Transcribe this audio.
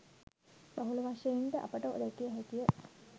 බහුල වශයෙන්ද අපට දැකිය හැකිය.